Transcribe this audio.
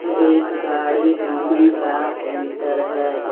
एक गाड़ी धोनेका सेंटर है. ज--